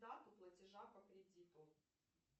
дату платежа по кредиту